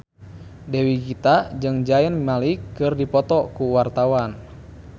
Dewi Gita jeung Zayn Malik keur dipoto ku wartawan